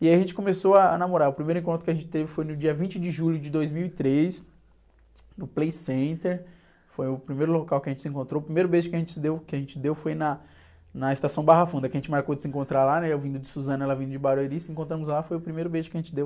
E aí a gente começou a, a namorar, o primeiro encontro que a gente teve foi no dia vinte de julho de dois mil e três, no Playcenter, foi o primeiro local que a gente se encontrou, o primeiro beijo que a gente deu, que a gente deu foi na, na estação Barra Funda, que a gente marcou de se encontrar lá, né? Eu vindo de Suzano, ela vindo de Barueri, se encontramos lá, foi o primeiro beijo que a gente deu.